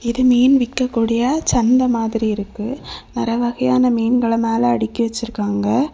இது மீன் விக்கக்கூடிய சந்தை மாதிரி இருக்கு. பல வகையான மீன்கள மேல அடுக்கி வச்சிருக்காங்க.